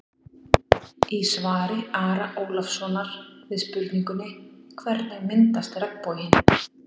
Í svari Ara Ólafssonar við spurningunni: Hvernig myndast regnboginn?